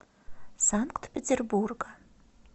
санкт петербурга